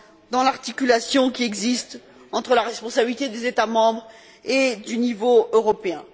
dans l'articulation qui existe entre la responsabilité des États membres et le niveau européen.